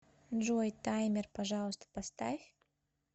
джой таймер пожалуйста поставь